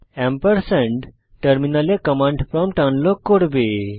ampersand টার্মিনালে command prompt unlock করবে